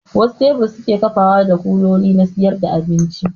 Wasu tebur suke kafawa da kuloli na siyar da abinci